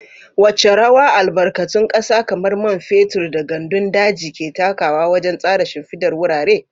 Wace rawa albarkatun kasa kamar man fetur da gandun daji ke takawa wajen tsara shimfidar wurare?